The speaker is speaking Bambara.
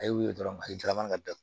A ye wili dɔrɔn a ye darama ka da